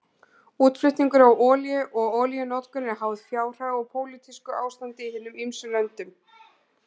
Útflutningur á olíu og olíunotkun eru háð fjárhag og pólitísku ástandi í hinum ýmsu löndum.